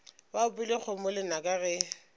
ba opile kgomo lenaka ge